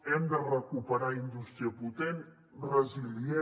hem de recuperar indústria potent resilient